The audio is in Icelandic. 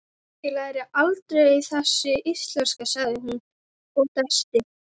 Ég læri aldrei þessi íslenska, sagði hún og dæsti.